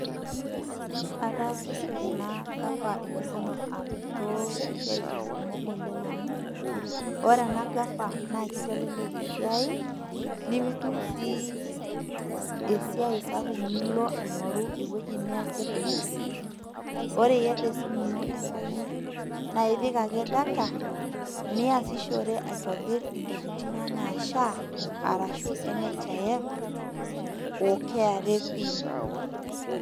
Afaasishore na gava mkono apo tosiatin kumok oleng amu ore ena gava amu kitelek esiai nimitum na esiai sapuk nilo aingoru eniasie kuna tokitin ore iata esimu ino enkaina nipik data niasishore apik ntokitin inonok anaa sha arashu nhif o kra pin